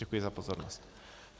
Děkuji za pozornost.